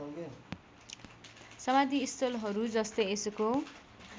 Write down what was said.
समाधिस्थलहरू जस्तै यसको